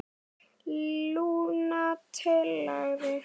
Lúna talaði